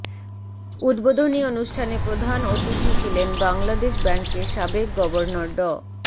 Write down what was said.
উদ্বোধনী অনুষ্ঠানে প্রধান অতিথি ছিলেন বাংলাদেশ ব্যাংকের সাবেক গভর্নর ড